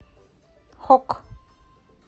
хокк